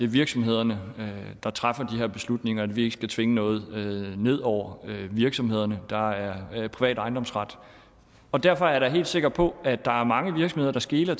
virksomhederne der træffer de her beslutninger og at vi ikke skal tvinge noget ned over virksomhederne der er privat ejendomsret og derfor er jeg da helt sikker på at der er mange virksomheder der skeler